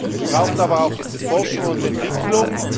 Es braucht aber auch Forschung und Entwicklung.